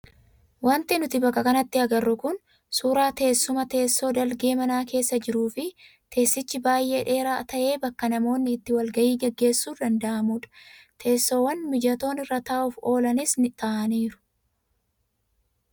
Wanti nuti bakka kanatti agarru kun suuraa teessuma teessoo dalgee mana keessa jiruu fi teessichi baay'ee dheeraa ta'ee bakka namoonni itti wal gahii gaggeessuun danda'amudha. Teessoowwan mijatoon irra taa'uuf oolanis taa'aniiru.